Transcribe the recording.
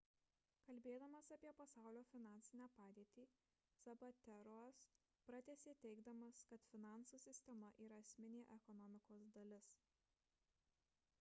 kalbėdamas apie pasaulio finansinę padėtį zapatero'as pratęsė teigdamas kad finansų sistema yra esminė ekonomikos dalis